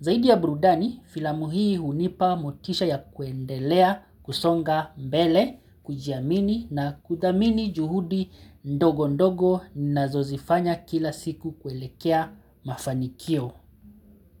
Zaidi ya burudani filamuhii hunipa motisha ya kuendelea kusonga mbele, kujiamini na kudhamini juhudi ndogo ndogo nazozifanya kila siku kuelekea mafanikio.